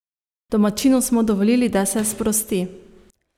Domačinu smo dovolili, da se sprosti.